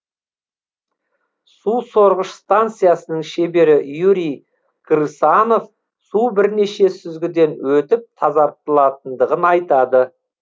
су сорғыш станциясының шебері юрий крысанов су бірнеше сүзгіден өтіп тазартылатындығын айтады